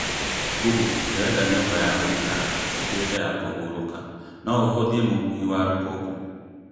Google, ndirenda nyũmba ya gũikara ĩtuĩke ya kũhurũka. No ũhũthie mũhuhi wa rũkũngũ?